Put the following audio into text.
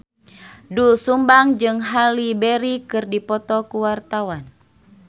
Doel Sumbang jeung Halle Berry keur dipoto ku wartawan